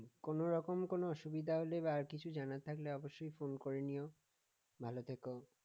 কোনরকম কোন অসুবিধা বা কিছু জানার থাকলে অবশ্যই phone করে নিও ভালো থেকো